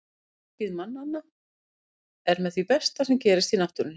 Sjónskyn mannanna er með því besta sem gerist í náttúrunni.